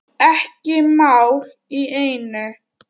Eitt mál í einu.